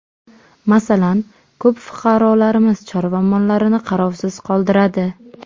Masalan, ko‘p fuqarolarimiz chorva mollarini qarovsiz qoldiradi.